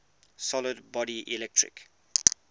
solid body electric